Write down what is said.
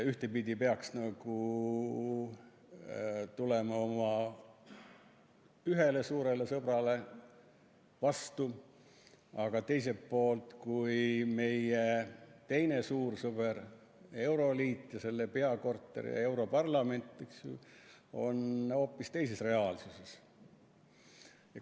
Ühtpidi peaks nagu tulema oma ühele suurele sõbrale vastu, aga teiselt poolt on meie teine suur sõber euroliit, selle peakorter ja europarlament hoopis teises reaalsuses.